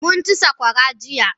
Mukn ci saƙwara jiya.